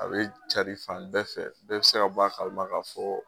A bɛ cari fan bɛɛ fɛ , bɛɛ bɛ se ka b'a kalama k'a fɔ ko